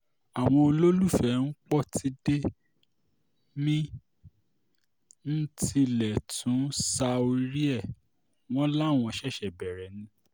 àwọn olólùfẹ́ pọ́tidé mí-ín tilẹ̀ tún ṣá orí ẹ̀ wọ́n láwọn ṣẹ̀ṣẹ̀ bẹ̀rẹ̀ ni